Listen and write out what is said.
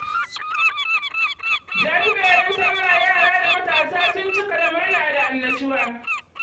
Jajiberin salla yara da matasa sun cika da murna da annushuwa.